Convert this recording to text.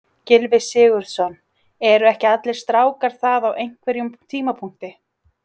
Gylfi Sigurðsson: Eru ekki allir strákar það á einhverjum tímapunkti?